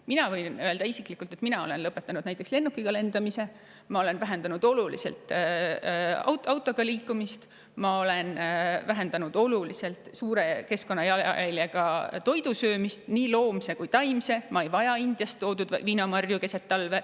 Mina võin isiklikult öelda, et mina olen lõpetanud näiteks lennukiga lendamise, ma olen oluliselt vähendanud autoga liikumist ja suure keskkonnajalajäljega toidu söömist – nii loomse kui ka taimse –, ma ei vaja keset talve Indiast toodud viinamarju.